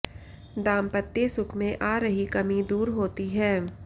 दांपत्य सुख में आ रही कमी दूर होती है